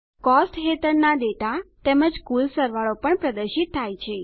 costs હેઠળના data તેમજ કુલ સરવાળો પણ પ્રદર્શિત થાય છે